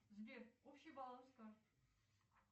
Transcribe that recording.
сбер общий баланс карт